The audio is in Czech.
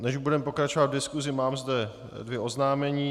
Než budeme pokračovat v diskusi, mám zde dvě oznámení.